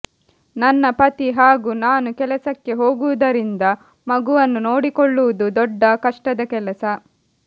ನನ್ನ ಪತಿ ಹಾಗೂ ನಾನು ಕೆಲಸಕ್ಕೆ ಹೋಗುವುದರಿಂದ ಮಗುವನ್ನು ನೋಡಿಕೊಳ್ಳುವುದು ದೊಡ್ಡ ಕಷ್ಟದ ಕೆಲಸ